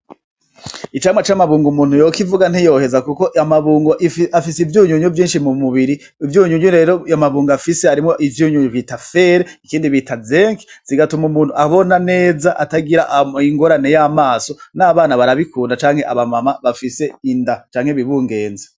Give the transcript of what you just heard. Icamwa c'amabungo umuntu yokivuga ntiyoheza kuko amabungo afise ivyunyunyu vyinshi mu mubiri, ivyunyunyu rero ayo mabungo afise harimwo ivyunyunyu bita fere ikindi bita zinke bigatuma umuntu abona neza atagira ingorane y'amaso n'abana barabikunda canke aba mama bafise inda canke bibungenze.